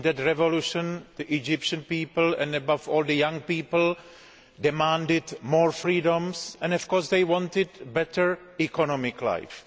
In that revolution, the Egyptian people and above all the young people demanded more freedoms and, of course, they wanted a better economic life.